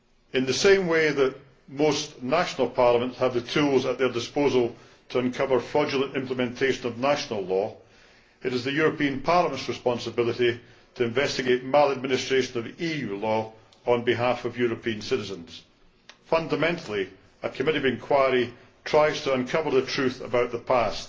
In the same way that most national parliaments have the tools at their disposal to uncover fraudulent implementation of national law, it is the European Parliament's responsibility to investigate maladministration of EU law on behalf of European citizens. Fundamentally, a committee of inquiry tries to uncover the truth about the past.